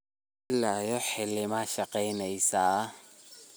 Ila iyo hilima shageyneysa?